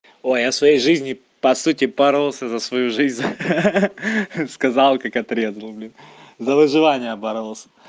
ой а я своей жизни по сути боролся за свою жизнь ха-ха сказал как отрезал блин за выживание боролся